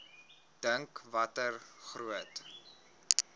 dink watter groot